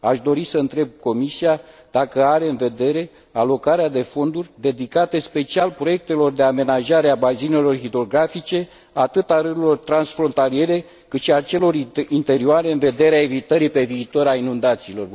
Aș dori să întreb Comisia dacă are în vedere alocarea de fonduri dedicate special proiectelor de amenajare a bazinelor hidrografice, atât a râurilor transfrontaliere, cât și a celor interioare, în vederea evitării, pe viitor, a inundațiilor.